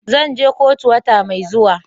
Zan je kotu wata mai zuwa.